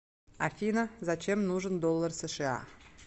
афина зачем нужен доллар сша